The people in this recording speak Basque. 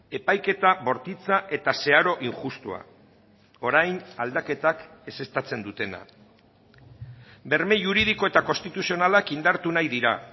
epaiketa bortitza eta zeharo injustua orain aldaketak ezeztatzen dutena berme juridiko eta konstituzionalak indartu nahi dira